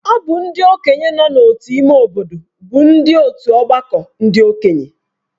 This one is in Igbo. Ọ bụ ndị okenye nọ n’otu ime obodo bụ ndị otu ọgbakọ ndị okenye